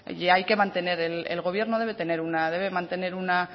y el gobierno debe mantener una